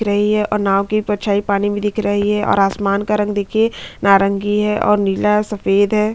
दिख रही है और नांव की परछाई पानी में दिख रही है और आसमान का रंग देखिये नारंगी है और नीला सफ़ेद है।